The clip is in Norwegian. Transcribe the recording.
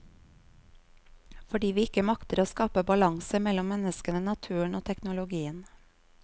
Fordi vi ikke makter å skape balanse mellom menneskene, naturen og teknologien.